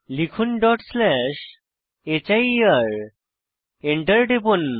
লিখুন dot slash here Enter টিপুন